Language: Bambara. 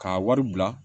K'a wari bila